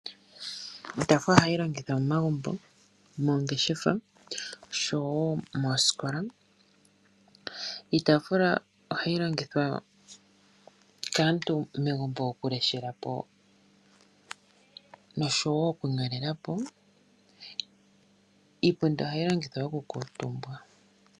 Iitaafula ohayi longithwa momagumbo, moongeshefa, oshowo moosikola. Iitaafula ohayi longithwa kaantu megumbo oku leshela po, noshowo okunyolela po. Iipundi ohayi longithwa okukuutumba.